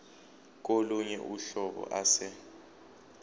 kolunye uhlobo ase